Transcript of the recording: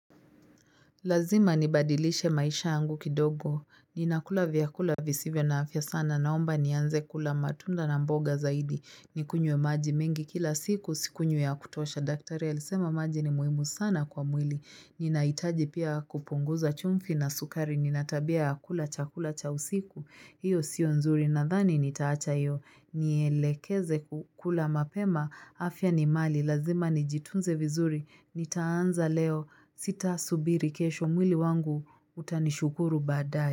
Lazima nibadilishe maisha yangu kidogo. Ninakula vyakula visivyo na afya sana naomba ni anze kula matunda na mboga zaidi. Nikunywe maji mengi kila siku sikunywi ya kutosha, daktari alisema maji ni muhimu sana kwa mwili. Ninahitaji pia kupunguza chumvi na sukari. Nina tabia ya kula chakula cha usiku. Hiyo sio nzuri nadhani nitaacha hiyo, nielekeze kukula mapema, afya ni mali, lazima nijitunze vizuri, nitaanza leo, sita subiri kesho mwili wangu utanishukuru badae.